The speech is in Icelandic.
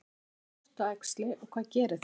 Hvað er sortuæxli og hvað gerir það?